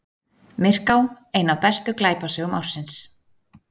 Myrká ein af bestu glæpasögum ársins